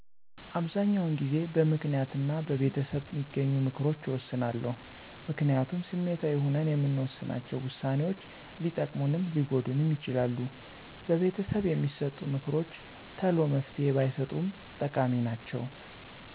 አበሰዛኛዉን ጊዜበምክንያት እና በቤተሰብበሚገኙምክሮች እወስናለሁ። ምክንያቱም ስሜታዊ ሁነን የምንወሥናቸ ውሳኔዎች ሊጠቅሙንም ሊጎዱንም ይችላሉ። በቤተሰብ የሚሠጡ ምክሮችተሎመፍትሄ ባይሠጡም ጠቃሚ ናቸዉ።